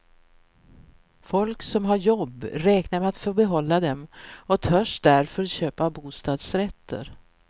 Folk som har jobb räknar med att få behålla dem och törs därför köpa bostadsrätter.